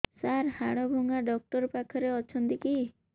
ସାର ହାଡଭଙ୍ଗା ଡକ୍ଟର ପାଖରେ ଅଛନ୍ତି କି